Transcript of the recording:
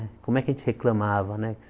Como é que a gente reclamava, né?